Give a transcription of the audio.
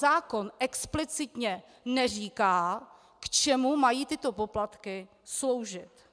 Zákon explicitně neříká, k čemu mají tyto poplatky sloužit.